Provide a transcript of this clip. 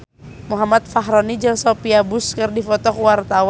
Muhammad Fachroni jeung Sophia Bush keur dipoto ku wartawan